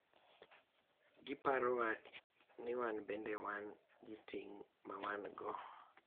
Giparowa ni wan bende wan gi ting’ ma wan-go